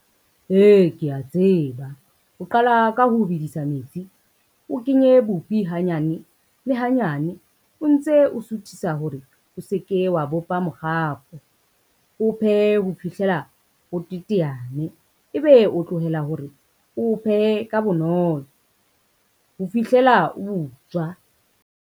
Ee, kea tseba. O qala ka ho bedisa metsi, o kenye bupi hanyane le hanyane o ntse o suthisa hore o se ke wa bopa mokgakgo, o phehe ho fihlela o teteane, ebe o tlohela hore o phehe ka bonolo ho fihlela o butswa.